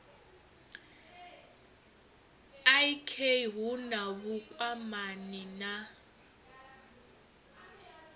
ik hu na vhukwamani na